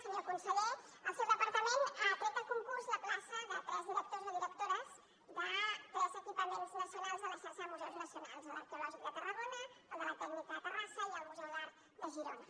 senyor conseller el seu departament ha tret a concurs la plaça de tres directors o directores de tres equipaments nacionals de la xarxa de museus nacionals l’arqueològic de tarragona el de la tècnica de terrassa i el museu d’art de girona